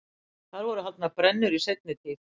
þar voru haldnar brennur í seinni tíð